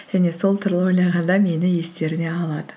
және сол туралы ойлағанда мені естеріне алады